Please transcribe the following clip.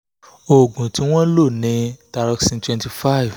oògùn tí wọ́n ń lò ni thyroxin twenty five